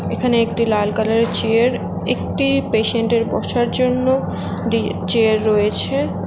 এখানে একটি লাল কালার -এর চেয়ার একটি পেশেন্ট -এর বসার জন্য দি চেয়ার রয়েছে।